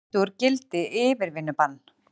Felldu úr gildi yfirvinnubann